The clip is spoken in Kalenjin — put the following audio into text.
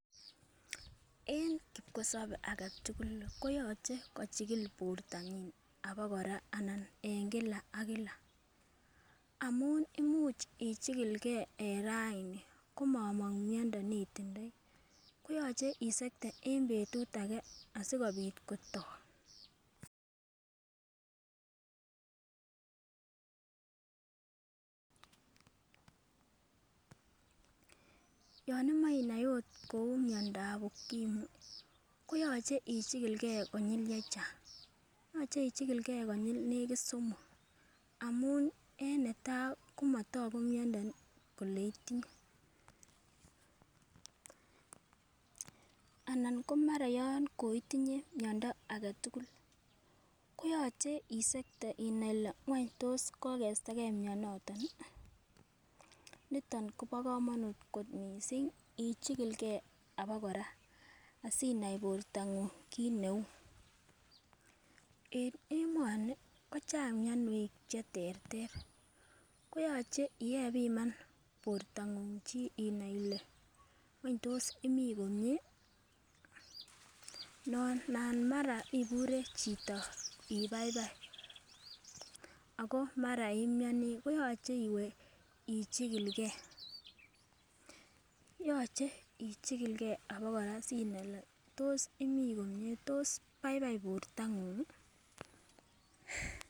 En kipkosobei aketugul kooche kochikil bortonyin abakora amun imuch ichikilge en raini komomong' myondo neitindoi koyoche isekte en betut ake asikobit kotok .Yon imoe inai kou myondab ukimwi koyoche ichikilgei konyil chechang' amun en netai komotoku myondo neitinye anan mara yon koitinye myondo aketugul koyoche isekte inai ile kokestage myonotok nitok kobo kamannut missing ichikilgei abakora asinai borto ng'ung' kiit neu. En emoni kochang' myonwek koyoche ipiman chi borto ng'ung' inai ile wony tos imi komie ,nana ibure chito ibaibai ako mara imyoni ,yoche iwe ichikilgei.